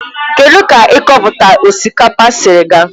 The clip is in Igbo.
Kedụ ka ikọpụta osikapa siri ga?